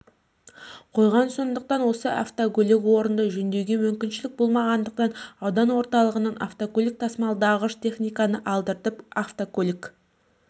қойған сондықтан осы автокөлікі орнында жөндеуге мүмкіншілік болмағандықтан аудан орталығынан автокөлік тасымалдағыш техниканы алдыртып автокөлік